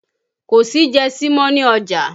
Kò sí jẹsí mọ́ ni ọjà